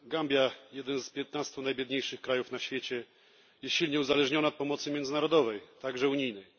Gambia jeden z piętnastu najbiedniejszych krajów na świecie jest silnie uzależniona od pomocy międzynarodowej, także unijnej.